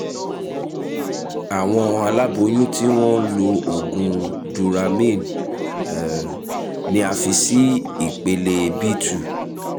àwọn aláboyún tí wọ́n ń lo oògùn duramine um ni a fi sí ipele b two